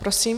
Prosím.